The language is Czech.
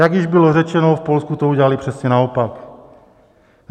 Jak již bylo řečeno, v Polsku to udělali přesně naopak.